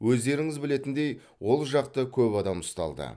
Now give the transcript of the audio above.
өздеріңіз білетіндей ол жақта көп адам ұсталды